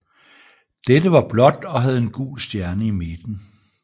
Dette var blåt og havde en gul stjerne i midten